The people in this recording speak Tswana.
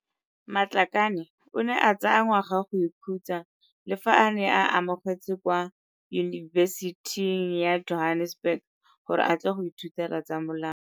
Matlakane o ne a tsaya ngwaga go ikhutsa le fa a ne a amogetswe kwa Yunibesithing ya Johannesburg gore a tle go ithutela tsa molao.